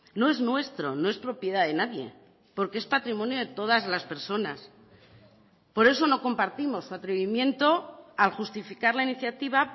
no es nuestro no es propiedad de nadie porque es patrimonio de todas las personas por eso no compartimos su atrevimiento al justificar la iniciativa